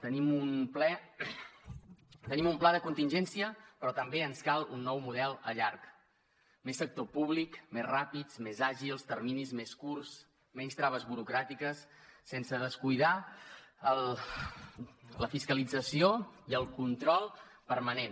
tenim un pla de contingència però també ens cal un nou model a llarg més sector públic més ràpids més àgils terminis més curts menys traves burocràtiques sense descuidar la fiscalització i el control permanent